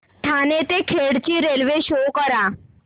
ठाणे ते खेड ची railway show करा